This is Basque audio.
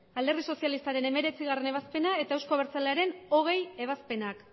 alderdi sozialistaren hemeretzigarrena ebazpena eta euzko abertzalearen hogei ebazpenak